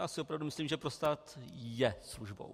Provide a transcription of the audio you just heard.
Já si opravdu myslím, že pro stát je službou.